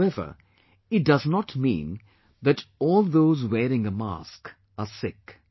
However, it does not mean that all those wearing a mask are sick